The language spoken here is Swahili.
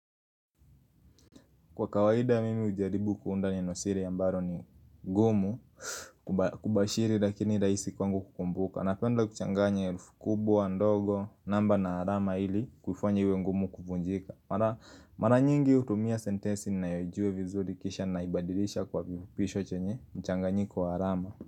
Kwa kawaida mimi hujaribu kuunda neno siri ambalo ni gumu kubashiri lakini rahisi kwangu kukumbuka Napenda kuchanganya herufi kubwa, ndogo, namba na alama ili kufanya iwe ngumu kuvunjika Mara nyingi hutumia sentensi ninayojua vizuri kisha naibadilisha kwa vifupisho chenye mchanganyiko wa alama.